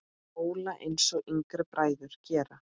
Óla, einsog yngri bræður gera.